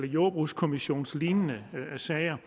jordbrugskommissionslignende sager